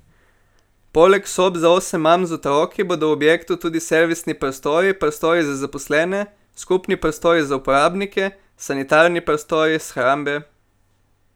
Poleg sob za osem mam z otroki bodo v objektu tudi servisni prostori, prostori za zaposlene, skupni prostori za uporabnike, sanitarni prostori, shrambe...